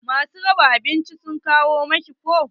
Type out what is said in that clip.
Ma su raba abinci sun kawo miki ko?